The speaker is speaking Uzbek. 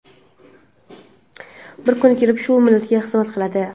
bir kun kelib shu millatga xizmat qiladi.